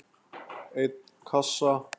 einn kassa?